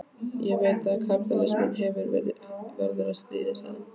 Ég veit að kapítalisminn verður að hafa stríð, sagði hann.